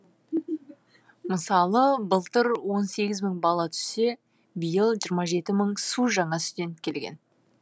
мысалы былтыр он сегіз мың бала түссе биыл жиырма жеті мың су жаңа студент келген